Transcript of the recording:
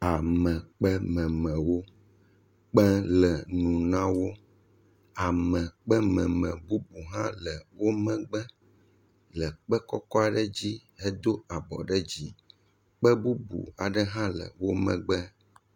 Amekpememewo kpe le nu na wo. Amekpememe bubu hã le wo megbe le kpe kɔkɔ aɖe dzi. Hedo abɔ ɖe dzi. Kpe bubu aɖe hã le wo megbe.